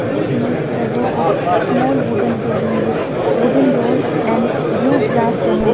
This image show a row of small wooden cabin with wooden door and blue glass panel.